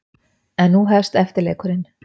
En nú hefst eftirleikurinn.